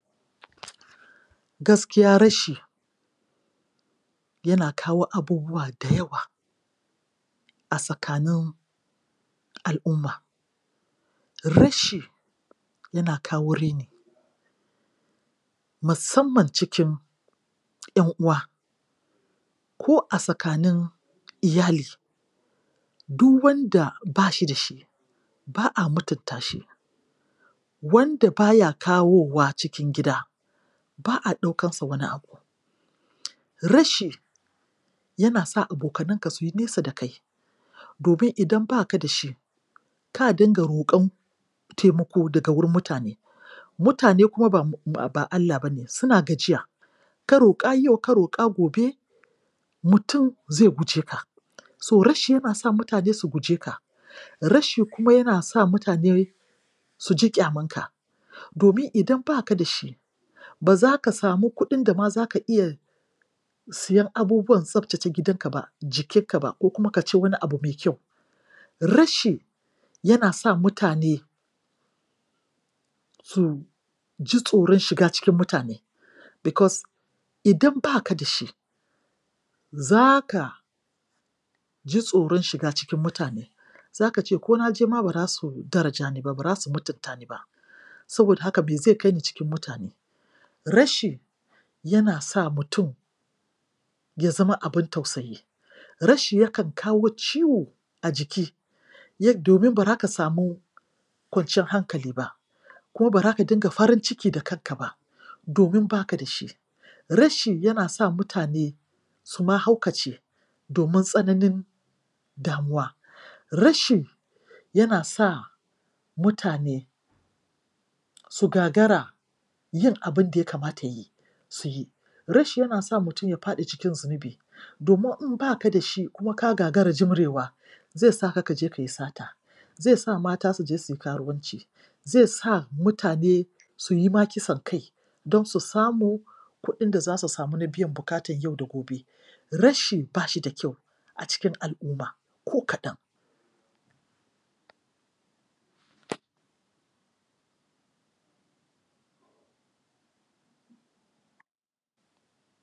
Gaskiya rashi yana kawo abubuwa da yawa a tsakanin al'umma. Rashi yana kawo raini. musamman cikin ƴan'uwa ko a tsakanin iyali Du wanda ba shi da shi, ba a mutunta shi, wanda ba ya kawowa cikin gida, ba a ɗaukansa wani abu Rashi yana sa abokananka su yi nesa da kai, domin idan ba ka da shi ka dinga roƙon taimako daga gurin mutane. Mutane kuma ba Allah ba ne; suna gajiya; ka roƙa yau ka roƙa gobe, mutum zai guje ka. So rashi yana sa mutane su guje ka. Rashi kuma yana sa mutane su ji ƙyamanka, domin idan ba ka da shi, ba za ka samu kuɗin da ma za ka iya siyan abubuwan tsaftace gidanka ba, jikinka ba, ko kuma ka ci wani abu mai kyau. Rashi yana sa mutane su ji tsoron shiga cikin mutane bikos idan ba ka da shi, za ka ji tsoron shiga cikin mutane, za ka ce ko na je ma ba za su daraja ni ba, ba za su mutunta ni ba, saboda haka me zai kai ni cikin mutane? Rashi yana sa mutum ya zama abin tausayi. Rashin yakan kawo ciwo jiki, domin ba za ka samu kwanciyar hankali ba. ko ba za ka dinga farin ciki da kanka ba, domin ba ka da shi. Rashi yana sa mutane su ma haukace domin tsanani damuwa. Rashi yana sa mutane su gagara yin abin da ya kamata su yi. Rashi yana sa mutum ya faɗi cikin zunubi, domin in baka da shi kuma ka gagara jimrewa zai ka ka je kai sata, zai sa mata su je su yi karuwanci, zai sa mutane su yi ma kisan kai don su samu kuɗin da za su samu na biyan buƙatan yau da gobe. Rashi ba shi da kyau a cikin al'uma ko kaɗan.